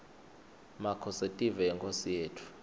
makhosetive yinkhosi yetfu